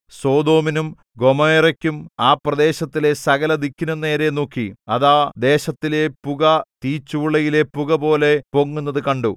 സൊദോമിനും ഗൊമോറായ്ക്കും ആ പ്രദേശത്തിലെ സകലദിക്കിനും നേരെ നോക്കി അതാ ദേശത്തിലെ പുക തീച്ചൂളയിലെ പുകപോലെ പൊങ്ങുന്നത് കണ്ടു